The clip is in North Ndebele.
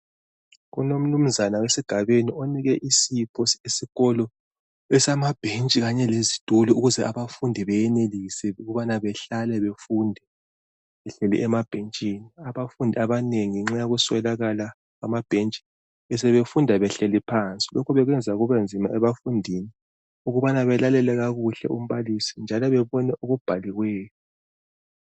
Kulomnunzana esigabeni onike isipho esikolo esamabhentshi Kanye lezitulo ukuze abafundi beyenelise ukubana behlale befunde behleli emabhentshini Abafundi abanengi ngenxa yokuswelakala kwamabhentshi besebefunda behleli phansi lokhu bekwenza kube nzima ebafundini ukubana belalele kakuhle umbalisi njalo bebone okubhaliweyo